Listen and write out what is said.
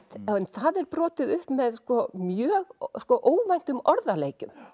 það brotið upp með mjög óvæntum orðaleikjum